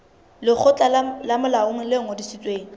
lekgotla le molaong le ngodisitsweng